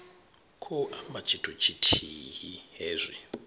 khou amba tshithu tshithihi hezwi